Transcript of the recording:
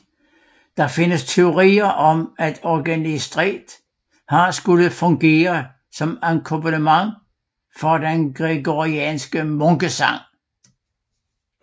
Der findes teorier om at organistret har skullet fungere som akkompagnement for gregoriansk munkesang